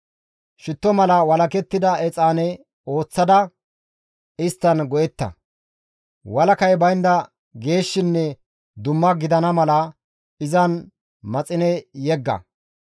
Shitto mala walakettida exaane ooththada isttan go7etta; walakay baynda geeshshinne dumma gidana mala izan maxine yegga.